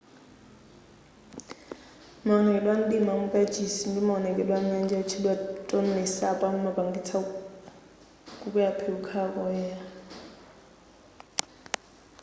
maonekedwe a mdima amukachisi ndi mawonekedwe a nyanja yotchedwa tonle sap amapangitsa kukwela phiri kukhala koyenela